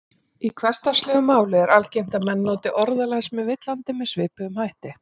Í hversdagslegu máli er algengt að menn noti orðalag sem er villandi með svipuðum hætti.